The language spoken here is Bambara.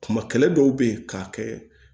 Kuma kɛlɛ dɔw bɛ ye k'a kɛ